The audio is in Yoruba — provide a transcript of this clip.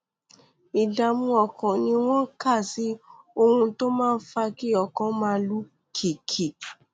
ìdààmú ọkàn ni wọn kà sí ohun tó máa ń fa kí ọkàn máa lù kìkì